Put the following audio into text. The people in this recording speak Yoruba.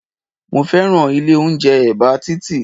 Mo fẹ́ràn ilé oúnjẹ ẹ̀bá títì